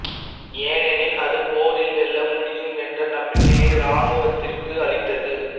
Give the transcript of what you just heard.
ஏனெனில் அது போரில் வெல்ல முடியும் என்ற நம்பிக்கையை இராணுவத்திற்கு அளித்தது